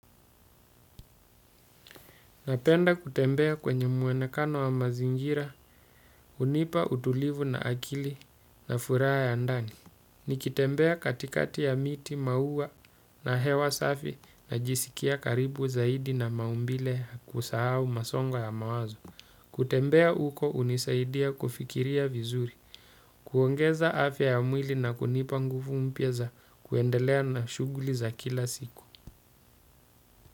Napenda kutembea kwenye muonekano wa mazingira, hunipa utulivu na akili na furaha ya ndani. Nikitembea katikati ya miti, maua na hewa safi na jisikia karibu zaidi na maumbile kusahau masongo ya mawazo. Kutembea huko hunisaidia kufikiria vizuri, kuongeza afya ya mwili na kunipa nguvu mpya za kuendelea na shughuli za kila siku.